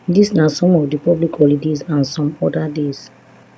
dis na some of di public holidays and some oda days